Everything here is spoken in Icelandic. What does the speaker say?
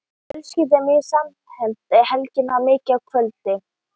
Fjölskyldan er mjög samhent og Helgi er þar mikið á kvöldin.